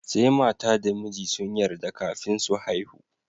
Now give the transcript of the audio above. Sai mata da miji sun yarda kafin su haihu.